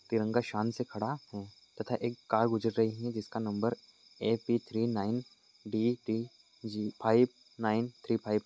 तिरंगा शान से खड़ा है तथा एक कार गुजर रही है जिसका number A P three nine D T G five nine three five --